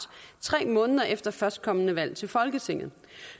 tre måneder efter førstkommende valg til folketinget